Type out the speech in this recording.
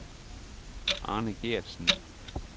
Arne Geertsen